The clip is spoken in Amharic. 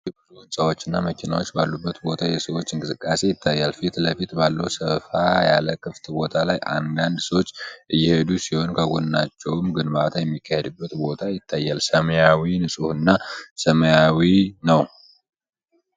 ከተራራው ግርጌ ብዙ ሕንጻዎችና መኪናዎች ባሉበት ቦታ የሰዎች እንቅስቃሴ ይታያል። ፊት ለፊት ባለው ሰፋ ያለ ክፍት ቦታ ላይ አንዳንድ ሰዎች እየሄዱ ሲሆን፣ ከጎናቸውም ግንባታ የሚካሄድበት ቦታ ይታያል። ሰማዩ ንጹሕና ሰማያዊ ነው።